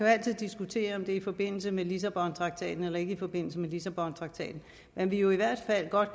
altid diskutere om det er i forbindelse med lissabontraktaten eller ikke i forbindelse med lissabontraktaten men vi er jo i hvert fald godt